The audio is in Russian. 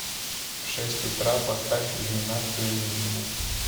в шесть утра поставь иллюминацию минимум